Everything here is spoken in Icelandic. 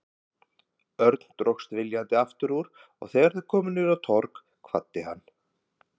Örn dróst viljandi aftur úr og þegar þau komu niður á Torg kvaddi hann.